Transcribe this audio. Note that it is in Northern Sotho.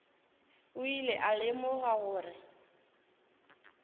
o ile a lemoga gore